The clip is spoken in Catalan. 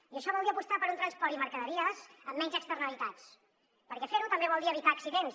i això vol dir apostar per un transport i mercaderies amb menys externalitats perquè fer ho també vol dir evitar accidents